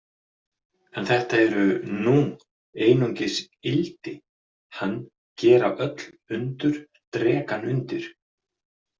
En þetta eru nung einungis ildi hann gera öll undur drekann undir.